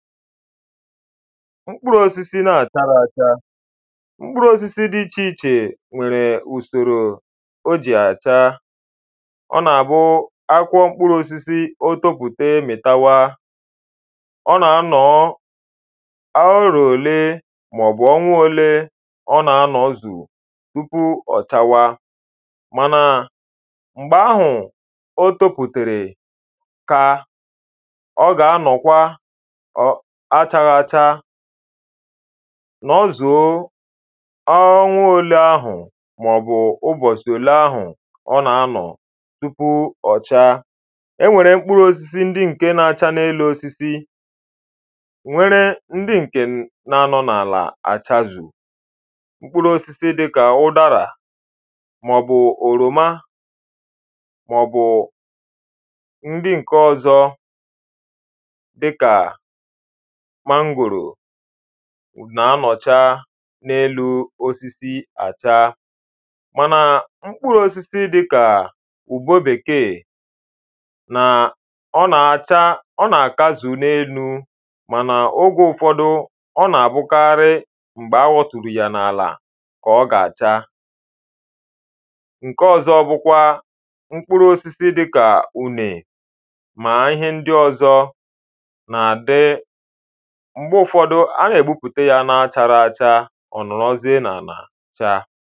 mkpụrụosisi n’àchara acha mkpụrụosisi dị ichéíche nwèrè ùsòrò o jì àchāā ọ na-abụ akwụkwọ mkpụrụosisī o topùte mịtawa ọ na-anọ̀ọ̀ ọruo olee màọ̀bụ̀ ọnwa òlee ọ na-anọ̀zù tupu ọ̀ chawaa mana mgbe ahụ̀ o topùtèrè ka ọ ga-anọ̀kwa achaghị acha nọzuō onwa òlee ahụ̀ màọ̀bụ e nwèrè mkpụrụ̄ōsisi ndị ǹke na-acha n’elu osisi nwere ndị ǹkè na anọ̀ n’àlà àchàzù mkpụrụ̄ōsisi dịkà ụdarà màọ̀bụ̀ òròmà màọ̀bụ̀ ndi ǹkè ọzọ dịkà mangòrò na-anọ̀chaa n’elū osisi àcha mana mkpụrụ́ósisi dịkà ugwō Bekēē ọ nàkazù n’elū mànà ogè ụ̀fọ̀dụ ọ na-bụ̀karị m̀gbè awọtùrù yà n’àlà kà ọ̀ gà-àcha ǹke ọzọ bụkwa mkpụrụosisi dịka ùnè mà ihe ndị ọ̀zọ nà àdị. Mgbe ụfọdụ a nà-ègbùpùtè ya n’acharacha ọ̀ nọ̀rọ̀ziè nà àna chaa